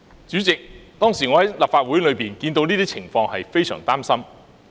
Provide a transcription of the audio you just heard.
主席，我當時身在立法會大樓內，看到這些情況，感到非常擔心。